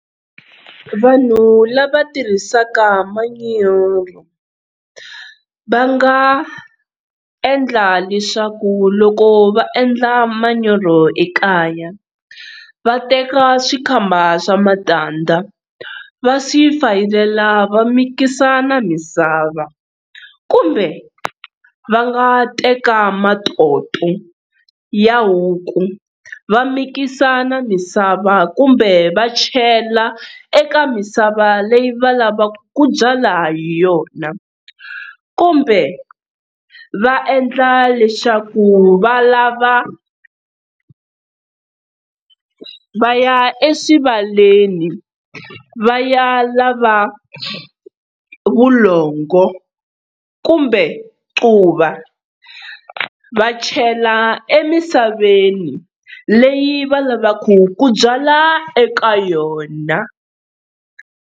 Vanhu lava tirhisaka manyoro, va nga endla leswaku loko va endla manyoro ekaya va teka swikhamba swa matandza va swi fayelela va mikisa na misava. Kumbe va nga teka matoto ya huku va mikisa na misava kumbe va chela eka misava leyi va lavaka ku byala ha yona. Kumbe va endla leswaku va lava va ya eswivaleni va ya lava vulongo kumbe quva va chela emisaveni leyi va lavaka ku byala eka yona.